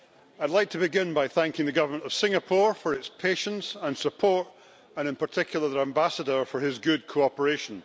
I'd like to begin by thanking the Government of Singapore for its patience and support, and in particular their Ambassador for his good cooperation.